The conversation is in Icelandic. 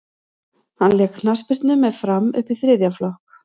hann lék knattspyrnu með fram upp í þriðja flokk